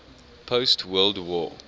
post world war